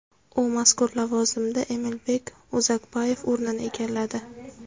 U mazkur lavozimda Emilbek Uzakbayev o‘rnini egalladi.